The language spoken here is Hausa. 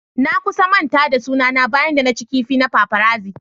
Na kusan manta da suna na bayan da na cin kifi na paparazzi.